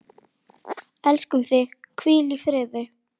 Elskum þig, hvíl í friði.